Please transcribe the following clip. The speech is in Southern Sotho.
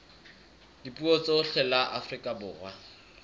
dipuo tsohle la afrika borwa